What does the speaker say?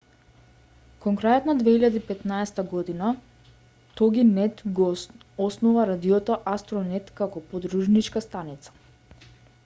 кон крајот на 2015 година тогинет го основа радиото астронет како подружничка станица